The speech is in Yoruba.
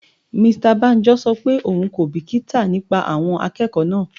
Mr Banjo ṣọ pé òun kò bìkítà nípa àwọn akẹ́kọ̀ọ́ náà.